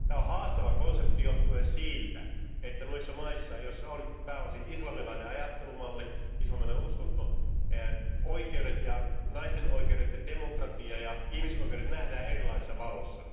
Tämä on haastava konsepti johtuen siitä, että noissa maissa, joissa on pääosin islamilainen ajattelumalli ja uskonto, oikeudet, naisten oikeudet ja demokratia ja ihmisoikeudet nähdään erilaisessa valossa.